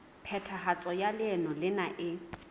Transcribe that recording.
phethahatso ya leano lena e